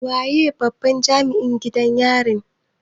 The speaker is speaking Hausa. Waye babban Jami'in gidan yarin?